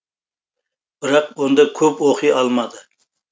бірақ онда көп оқи алмады